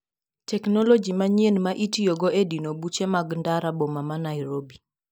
Teknoloji Manyien ma itiyogo e dino buche mag ndara boma ma Nairobi.